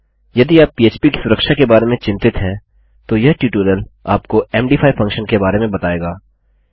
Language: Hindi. यदि आप पह्प की सुरक्षा के बारे में चिन्तित हैं तो यह टयूटोरियल आपको मद5 फंक्शन के बारे में बताएगा